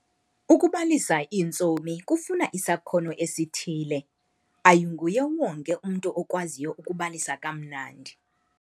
Ukubalisa iintsomi kufuna isakhono esithile. Ayinguye wonke umntu okwaziyo ukubalisa kamnandi